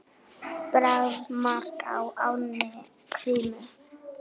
Bragð: mark á ánni Krímu.